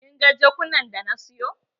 Kin ga jakunan da na siyo?